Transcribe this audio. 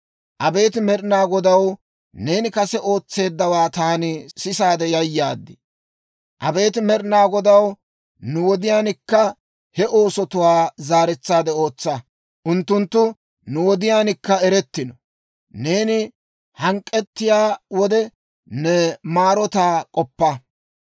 Abeet Med'ina Godaw, neeni kase ootseeddawaa taani sisaade yayaad. Abeet Med'ina Godaw, nu wodiyaankka he oosotuwaa zaaretsaade ootsa; unttunttu nu wodiyaankka erettino. Neeni hank'k'etsiyaa wode ne maarotaa k'oppa.